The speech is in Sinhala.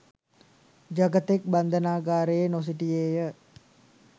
ජගතෙක් බන්ධනාගාරයේ නොසිටියේය